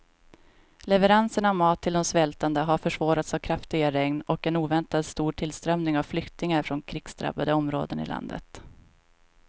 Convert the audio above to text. Leveranserna av mat till de svältande har försvårats av kraftiga regn och en oväntat stor tillströmning av flyktingar från krigsdrabbade områden i landet.